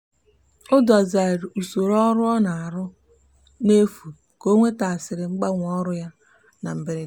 o dozigharịrị usoro ọrụ ọ na-arụ n'efu ka o nwetasịrị mgbanwe n'ọrụ ya na mberede.